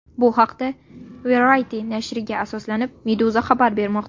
Bu haqda, Variety nashriga asoslanib, Meduza xabar bermoqda .